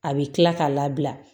A bɛ kila k'a labila